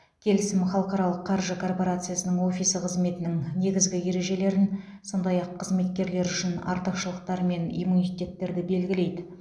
келісім халықаралық қаржы корпорациясының офисі қызметінің негізгі ережелерін сондай ақ қызметкерлер үшін артықшылықтар мен иммунитеттерді белгілейді